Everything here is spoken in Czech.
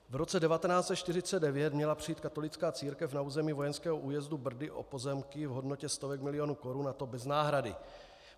V roce 1949 měla přijít katolická církev na území vojenského újezdu Brdy o pozemky v hodnotě stovek milionů korun, a to bez náhrady.